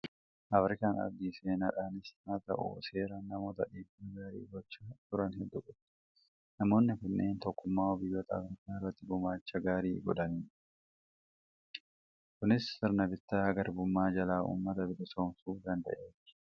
Afirikaan ardii seenaadhaanis haa ta'u, seeraan namoota dhiibbaa gaarii gochaa turan hedduu qabdi. Namoonni kunneen tokkummaa'uu biyyoota Afirikaa irratti gumaacha gaarii godhanii jiru! Kunis sirna bittaa garbummaa jalaa uummata bilisoomsuu danda'ee jira.